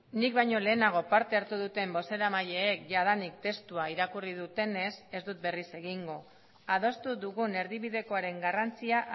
nik baino lehenago parte hartu duten bozeramaileek jadanik testua irakurri dutenez ez dut berriz egingo adostu dugun erdibidekoaren garrantzia